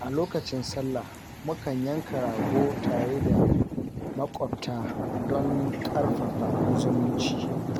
A lokacin sallah, mukan yanka rago tare da maƙwabta don ƙarfafa zumunci.